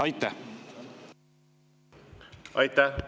Aitäh!